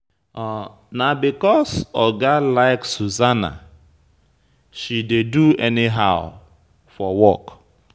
Na because Oga like Susanna, she dey do anyhow for work.